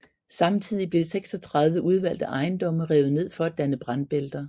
Samtidig blev 36 udvalgte ejendomme revet ned for at danne brandbælter